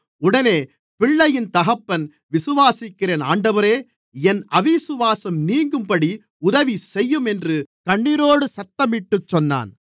உடனே பிள்ளையின் தகப்பன் விசுவாசிக்கிறேன் ஆண்டவரே என் அவிசுவாசம் நீங்கும்படி உதவிசெய்யும் என்று கண்ணீரோடு சத்தமிட்டுச் சொன்னான்